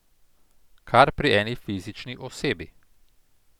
Kar pri eni fizični osebi.